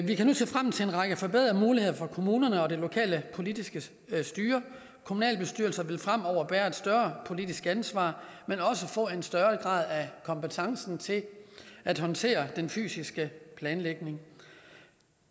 vi kan nu se frem til en række forbedrede muligheder for kommunerne og det lokale politiske styre kommunalbestyrelser vil fremover bære et større politisk ansvar men også få en større grad af kompetence til at håndtere den fysiske planlægning